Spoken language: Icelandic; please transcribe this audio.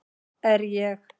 Er ég